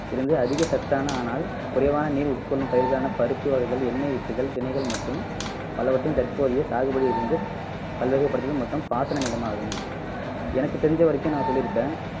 இருந்து அதிக சத்தான ஆனால் குறைவான நீர் உட்கொள்ளும் பயிர்களான பருப்பு வகைகள், எண்ணெய் வித்துகள், திணைகள் மற்றும் பலவற்றின் தற்போதைய சாகுபடியிலிருந்து பல்வகைபடுத்துதல் மொத்தம் பாசன நிலமாகும் எனக்கு தெரிஞ்ச வரைக்கும் நான் சொல்லிருக்கேன்